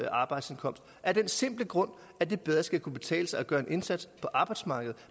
arbejdsindkomst af den simple grund at det bedre skal kunne betale sig at gøre en indsats på arbejdsmarkedet